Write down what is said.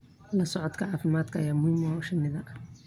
La socodka caafimaadka ayaa muhiim u ah shinnida.